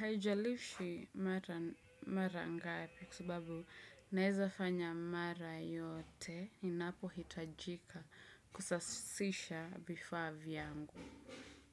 Haijalishi mara ngapi kwa sababu naweza fanya mara yote inapohitajika kusasisha vifaa vyangu.